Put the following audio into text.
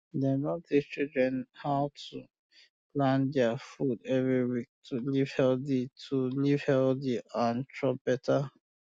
dem don teach children how um to plan deir food every week to live healthy to live healthy um and chop better